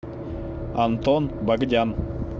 антон богдян